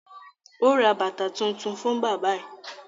Ó ra bàtà tuntun fún bábà ẹ̀